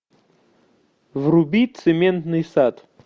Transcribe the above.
вруби цементный сад